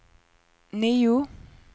nio